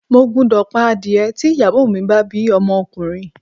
Mo gbúdọ̀ pa adìẹ tí ìyàwó mi bá bí ọmọkùnrin.